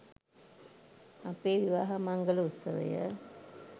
අපේ විවාහ මංගල උත්සවය